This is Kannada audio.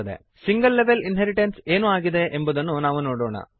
ಸಿಂಗಲ್ ಲೆವೆಲ್ ಇನ್ಹೆರಿಟೆನ್ಸ್ ಏನು ಆಗಿದೆ ಎಂಬುದನ್ನು ನಾವು ನೋಡೋಣ